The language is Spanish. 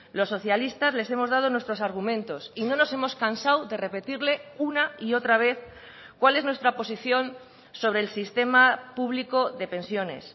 los socialistas les hemos dado nuestros argumentos y no nos hemos cansado de repetirle una y otra vez cuál es nuestra posición sobre el sistema público de pensiones